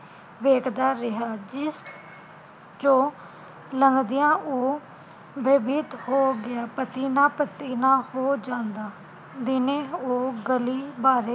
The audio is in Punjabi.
ਵੇਖਦਾ ਰਿਹਾ ਜਿਸ ਚੋ ਲੰਘਦਿਆਂ ਉਹ ਬੈਭੀਤ ਹੋ ਗਿਆ ਪਸੀਨਾ ਪਸੀਨਾ ਹੋ ਜਾਂਦਾ, ਦਿਨੇ ਉਹ ਗਲੀ ਬਾਰੇ